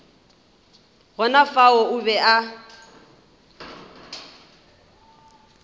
gona fao o be a